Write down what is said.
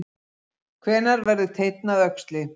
Hvenær verður teinn að öxli?